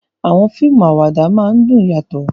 Àwọn fíìmù àwàdà máa ń dùn yàtọ̀